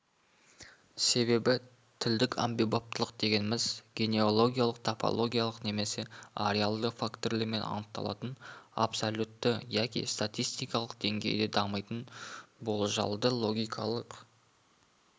себебі тілдік әмбебаптылық дегеніміз генеологиялық типологиялық немесе ареалды фактілермен анықталатын абсолютті яки статистикалық деңгейде дамитын болжалды-логикалық